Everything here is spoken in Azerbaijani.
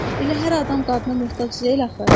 Elə hər adam qadına möhtac deyil axı.